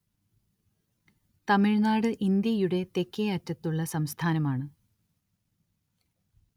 തമിഴ്‌നാട്‌ ഇന്ത്യയുടെ തെക്കേയറ്റത്തുള്ള സംസ്ഥാനമാണ്‌